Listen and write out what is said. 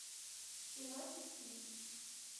кино тиски